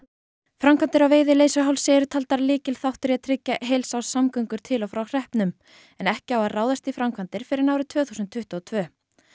framkvæmdir á Veiðileysuhálsi eru taldar lykilþáttur í að tryggja heilsárssamgöngur til og frá hreppnum en ekki á að ráðast í framkvæmdir fyrr en árið tvö þúsund tuttugu og tvö